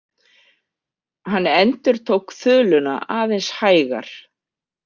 Hann endurtók þuluna aðeins hægar.